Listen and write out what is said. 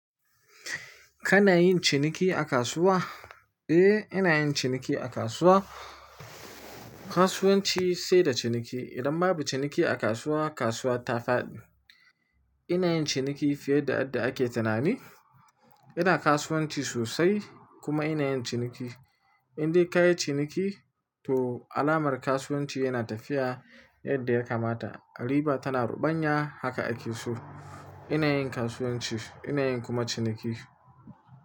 Kana yin ciniki a kasuwa? Eh, ina yin ciniki a kasuwa. Kasuwanci sai da ciniki. Idan babu ciniki a kasuwa, kasuwa ta faɗi. Ina yin ciniki fiye da yadda ake tunani. Ina kasuwanci sosai kuma ina yin ciniki. In dai ka yi ciniki, to alamar kasuwanci yana tafiya yadda ya kamata. Riba tana ruɓanya, haka ake so. Yanayin kasuwanci, yanayin kuma ciniki.